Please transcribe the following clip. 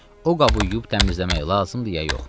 O qabı yuyub təmizləmək lazımdır ya yox?